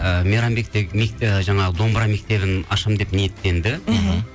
ы мейрамбек те ыыы жаңағы домбыра мектебін ашамын деп ниеттенді мхм